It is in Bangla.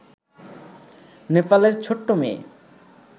নেপালের ছোট্ট মেয়ে